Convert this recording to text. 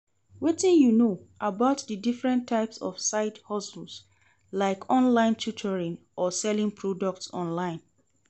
Wetin you know about di different types of side-hustles, like online tutoring or selling products online?